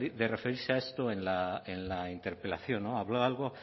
de referirse a esto en la interpelación habló algo